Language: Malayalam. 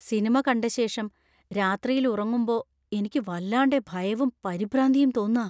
സിനിമ കണ്ടശേഷം രാത്രിയിൽ ഉറങ്ങുമ്പോ എനിക്ക് വല്ലാണ്ടെ ഭയവും പരിഭ്രാന്തിയും തോന്നാ.